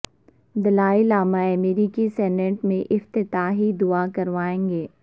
دلائی لامہ امریکی سینٹ میں افتتاحی دعا کروائیں گے